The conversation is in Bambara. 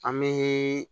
An bɛ